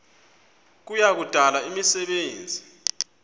kuya kudala imisebenzi